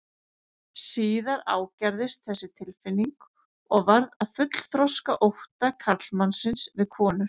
Síðar ágerðist þessi tilfinning og varð að fullþroska ótta karlmannsins við konur.